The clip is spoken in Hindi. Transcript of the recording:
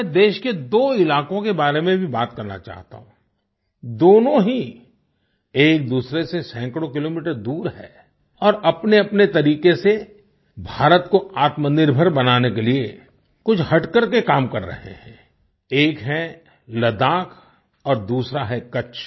मैं देश के दो इलाकों के बारे में भी बात करना चाहता हूँ दोनों ही एकदूसरे से सैकड़ों किलोमीटर दूर हैं और अपनेअपने तरीक़े से भारत को आत्मनिर्भर बनाने के लिए कुछ हटकर के काम कर रहे हैं एक है लद्दाख और दूसरा है कच्छ